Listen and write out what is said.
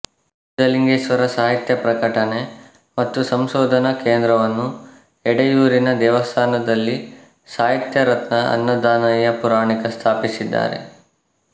ಸಿದ್ಧಲಿಂಗೇಶ್ವರ ಸಾಹಿತ್ಯ ಪ್ರಕಟಣೆ ಮತ್ತು ಸಂಶೋಧನಾ ಕೇಂದ್ರವನ್ನು ಎಡೆಯೂರಿನ ದೇವಸ್ಥಾನದಲ್ಲಿ ಸಾಹಿತ್ಯರತ್ನ ಅನ್ನದಾನಯ್ಯ ಪುರಾಣಿಕ ಸ್ಥಾಪಿಸಿದ್ದಾರೆ